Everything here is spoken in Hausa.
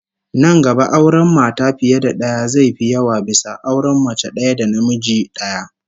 Nan gaba auren mata fiye da daya zai fi yawa bisa auren mace daya da namiji daya